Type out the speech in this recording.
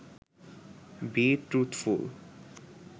B truthful